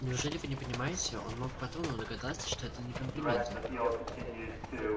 неужели вы не понимаете он мог по тону догадаться что это не комплименты